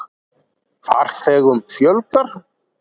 Farþegum fjölgar